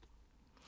Radio24syv